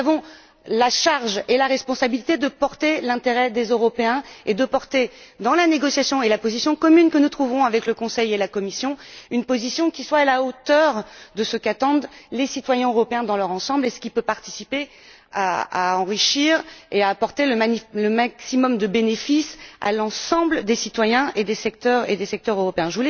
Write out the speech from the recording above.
Nous avons la charge et la responsabilité de porter l'intérêt des Européens et de prôner, dans la négociation et la position commune que nous trouverons avec le Conseil et la Commission, une approche qui soit à la hauteur de ce qu'attendent les citoyens européens dans leur ensemble, et de ce qui peut contribuer à enrichir et à apporter le maximum de bénéfices à l'ensemble des citoyens et des secteurs européens.